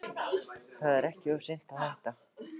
Það er ekki of seint að hætta.